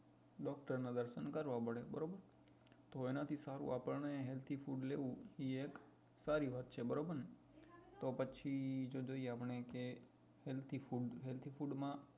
doctor ના દર્શન કરવા પડે બરોબર તો એના થી સારું આપણે healthy food લેવું એ સારી વાત છે બરોબર ને તો પછી જો જોઈએ આપણે કે healthy food healthy food માં